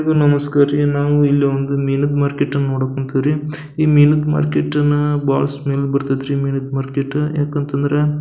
ಎಲ್ಲರಿಗು ನಮಸ್ಕಾರ ರೀ ನಾವು ಇಲ್ಲಿ ಒಂದು ಮೀನಿದ್ ಮಾರ್ಕೆಟ್ ಅನ್ನ ನೋಡಕ್ ಹೊಂಟಿವ್ ರೀ ಮೀನಿದ್ ಮಾರ್ಕೆಟ್ ಅನ್ನ ಬಹಳ ಸ್ಮೆಲ್ ಬರತೈತ್ರಿ ಯಾಕಂತಂದ್ರ--